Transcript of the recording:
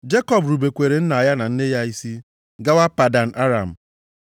Jekọb rubekwara nna ya na nne ya isi gawa Padan Aram.